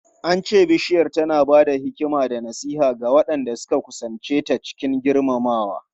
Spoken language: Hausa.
An ce Bishiyar tana ba da hikima da nasiha ga waɗanda suka kusance ta cikin girmamawa.